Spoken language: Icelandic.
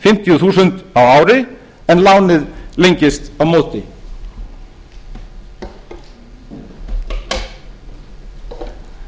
fimmtíu þúsund krónur á ári en lánið lengist á móti þannig viljum við hjálpa